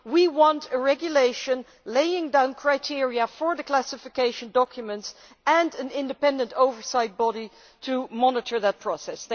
We want a regulation laying down criteria for the classification of documents and an independent oversight body to monitor that process.